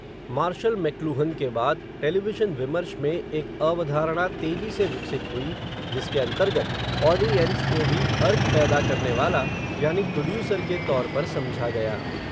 martial McLuhan के बाद, television विमर्श में, एक अवधारणा तेजी से विकसित हुई, जिसके अन्तर्गत, ऑडि एंस को भी अर्थ पैदा करनेवाला, यानि प्रोड्यूसर के तौर पर समझा गया